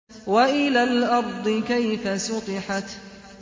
وَإِلَى الْأَرْضِ كَيْفَ سُطِحَتْ